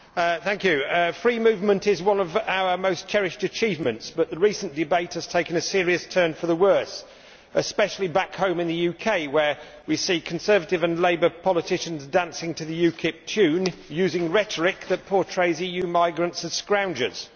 Mr President, free movement is one of our most cherished achievements, but the recent debate has taken a serious turn for the worse, especially back home in the UK, where we see Conservative and Labour politicians dancing to the UKIP tune, using rhetoric which portrays EU migrants as scroungers.